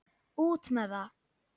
Út með það!